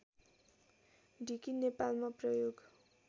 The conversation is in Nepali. ढिकी नेपालमा प्रयोग